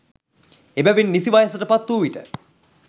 එබැවින් නිසි වයසට පත් වූ විට